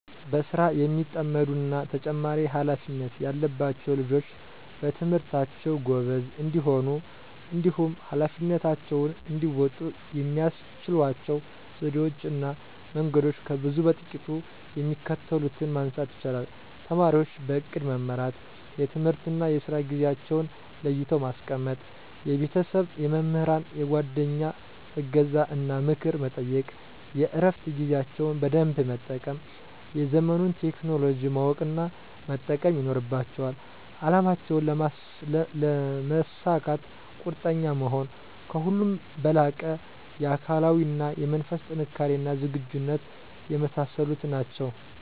በስራ የሚጠመዱ እና ተጨማሪ ሃላፊነት ያለባቸዉ ልጆች በትምህርታቸዉ ጎበዝ እንዲሆኑ እንዲሁም ኀላፊነታቸውን እንዲወጡ የሚያስችሏቸው ዘዴወች እና መንገዶች ከብዙ በጥቂቱ የሚከተሉትን ማንሳት ይቻላል:- ተማሪወች በእቅድ መመራት፤ የትምህርትና የስራ ጊዜአቸዉን ለይተው ማስቀመጥ፤ የቤተሰብ፣ የመምህራን፣ የጓደኛ እገዛን እና ምክር መጠየቅ፤ የእረፋት ጊዜያቸውን በደንብ መጠቀም፤ የዘመኑን ቴክኖሎጂ ማወቅ እና መጠቀም ይኖርባቸዋል፤ አላማቸውን ለመሳካት ቁርጠኛ መሆን፤ ከሁሉም በላቀ የአካላዊ እና የመንፈስ ጥንካሬና ዝግጁነት የመሳሰሉት ናቸዉ።